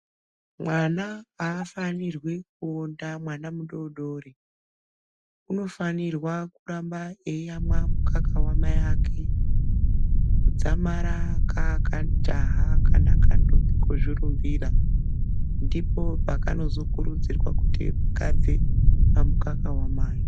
Mwana aafanirwi kuonda mwana mudodori unofanirwa kuramba eiyamwa mukaka wamai ake dzamara kaa kajaha kana kantombi kozvirumbira ndipo pakanozokurudzirwa kuti kabve pamukaka wamai.